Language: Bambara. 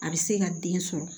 A bɛ se ka den sɔrɔ